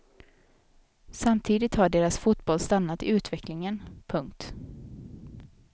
Samtidigt har deras fotboll stannat i utvecklingen. punkt